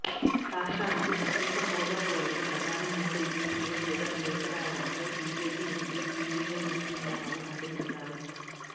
రాష్ట్రానికి ప్రత్యేక హోదా కోరుతూ ప్రధాని మోదీకి సీఎం జగన్ లేఖ రాయడంపై బీజేపీ ఎంపీ జీవీఎల్ నరసింహారావు మండిపడ్డారు